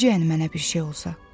Necə yəni mənə bir şey olsa?